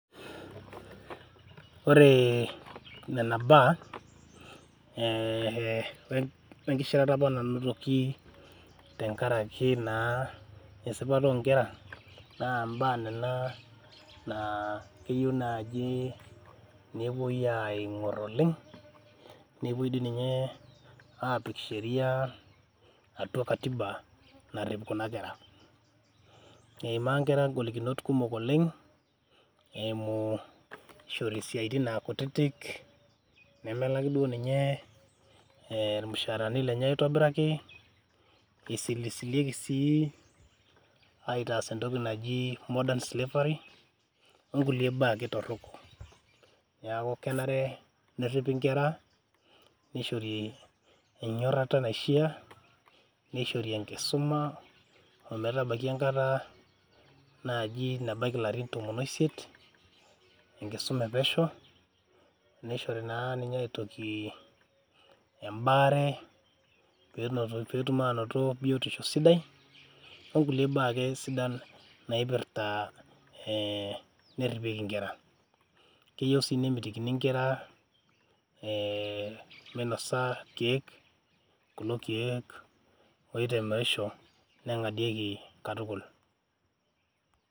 Ore nena baa ee wenkishirata apa nanotoki tenkaraki naa esipata onkera naa mbaa nena naa keyieu naji nepuoi aingor oleng, nepuoi dii ninye apik sheriaa atua katiba narip kuna kera. Eimaa nkera ngolikinot kumok oleng eimu ishori isiatin aa kutitik , nemelaki duo ninye irmusharani lenye aitobiraki, isilisilieki sii aitaas entoki naji modern slavery onkulie baa ake torok . Niaku kenare neripi inkera , nishori enyorata naishiaa , nishori enkisuma ometabaiki enkata naji nabaiki ilarin tomon oisiet , enkisuma epesho, nishori naa ninye aitoki embaare , petum anoto biotisho sidai onkulie baa ake sidan naipirta ee neripieki inkera , keyieu sii nemitikini nkera ee minosa irkiek , kulo kiek oitemerisho, nengadieki katukul.